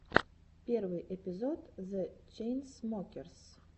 первый эпизод зе чейнсмокерс